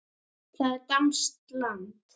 Það er danskt land.